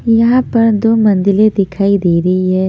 यहां पर दो मंदिले दिखाई दे रही है।